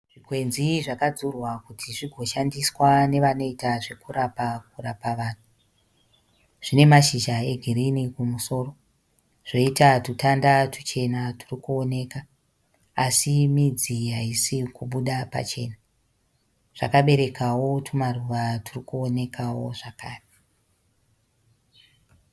Zvikwenzi zvakadzurwa kuti zvigoshandiswa nevanoita zvokurapa vanhu. Zvine mashizha egirini kumusoro, zvoita tutanda tuchena turi kuoneka asi midzi haisi kubuda pachena. Zvakaberekawo tumaruva turi kuonekawo zvakare.